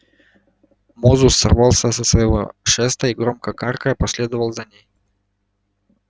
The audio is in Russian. мозус сорвался со своего шеста и громко каркая последовал за ней